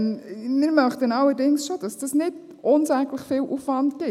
Wir möchten allerdings schon, dass das nicht unsäglich viel Aufwand gibt.